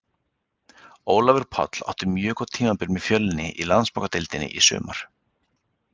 Ólafur Páll átti mjög gott tímabili með Fjölni í Landsbankadeildinni í sumar.